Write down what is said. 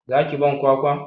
Za ki ban kwakwa?